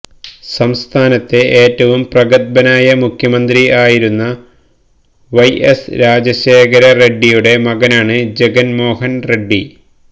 സംസ്ഥാനത്തെ ഏറ്റവും പ്രഗത്ഭനായ മുഖ്യമന്ത്രി ആയിരുന്ന വൈ എസ് രാജശേഖര റെഡ്ഡിയുടെ മകനാണ് ജഗൻ മോഹൻ റെഡ്ഡി